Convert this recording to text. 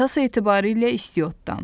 Əsas etibarilə istiottan.